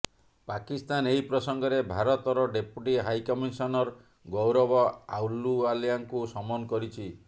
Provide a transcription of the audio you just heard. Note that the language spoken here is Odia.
ପାକିସ୍ତାନ ଏହି ପ୍ରସଙ୍ଗରେ ଭାରତ ରଡେପୁଟି ହାଇକମିସନର ଗୌରବ ଆଲୁୱାଲିଆଙ୍କୁ ସମନ କରିଛି